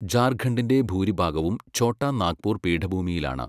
ജാർഖണ്ഡിൻ്റെ ഭൂരിഭാഗവും ഛോട്ടാ നാഗ്പൂർ പീഠഭൂമിയിലാണ്.